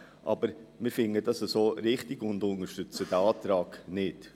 Aber wir finden es so richtig und unterstützen den Antrag nicht.